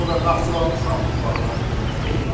Sonra Naxçıvanın Şahbuz dağları görükür orda.